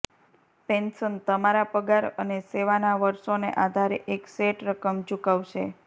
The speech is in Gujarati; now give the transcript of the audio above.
પેન્શન તમારા પગાર અને સેવાના વર્ષોને આધારે એક સેટ રકમ ચૂકવશે